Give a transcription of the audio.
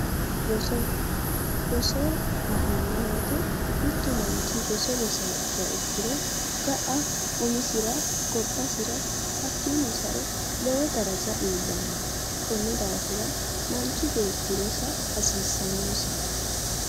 Roso, roso la'neemmo woyiite mittu manchi roso rosiyaa ikkiha ikkiro ga'a umisira gobbasira hakkiino sae lowo daraja iillanno. konni daafir manchi beetti rosa hasiissannosi.